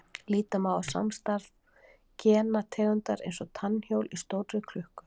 Líta má á samstarf gena tegundar eins og tannhjól í stórri klukku.